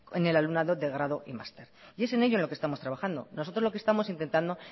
en el alumnado de grado y máster y es en ello lo que estamos trabajando nosotros lo que estamos intentando